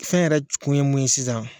Fɛn yɛrɛ kun ye mun ye sisan.